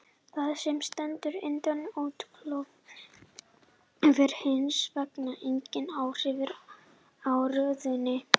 Það sem stendur innan oddklofanna hefur hins vegar engin áhrif á röðunina.